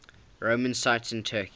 roman sites in turkey